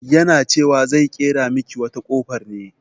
Yana cewa zai ƙera miki wata kofar ne.